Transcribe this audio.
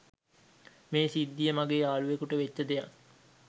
මේ සිද්දිය මගේ යාලුවෙකුට වෙච්ච දෙයක්.